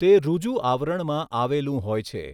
તે ઋજુ આવરણમાં આવેલું હોય છે.